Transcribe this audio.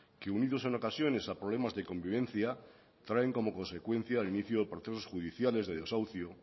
que unidos en ocasiones a problemas de convivencia traen como consecuencia el inicio de procesos judiciales de desahucio